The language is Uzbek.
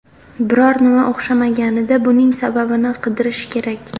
Biror nima o‘xshamaganida buning sababini qidirish kerak.